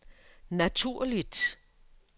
naturligt